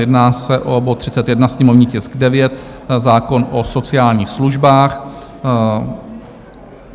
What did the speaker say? Jedná se o bod 31, sněmovní tisk 9, zákon o sociálních službách.